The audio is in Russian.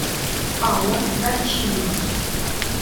алла дарчиева